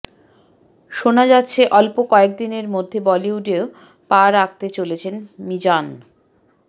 শোনা যাচ্ছে অল্প কয়েকদিনের মধ্যে বলিউডেও পা রাখতে চলেছেন মিজান